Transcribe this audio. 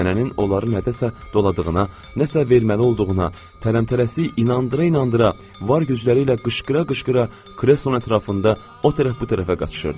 Nənənin onları nədəsə doladığına, nəsə verməli olduğuna, tələmtələsik inandıra-inandıra var gücləri ilə qışqıra-qışqıra kreslonun ətrafında o tərəf bu tərəfə qaçışırdılar.